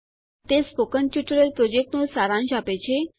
તે spoken tutorial પ્રોજેક્ટનું સારાંશ આપે છે